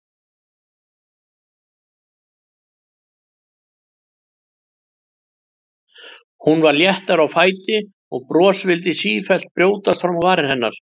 Hún var léttari á fæti og bros vildi sífellt brjótast fram á varir hennar.